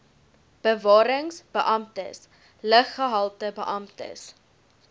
bewarings beamptes luggehaltebeamptes